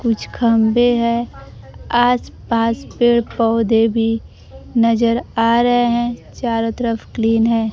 कुछ खंभे है आस पास पेड़ पौधे भी नजर आ रहे हैं चारो तरफ क्लीन है।